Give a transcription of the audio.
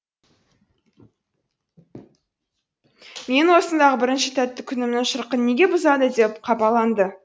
менің осындағы бірінші тәтті күнімнің шырқын неге бұзады деп қапаланды